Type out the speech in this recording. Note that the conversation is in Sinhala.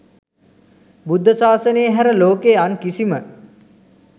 බුද්ධ ශාසනයේ හැර ලෝකයේ අන් කිසිම